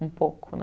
um pouco né.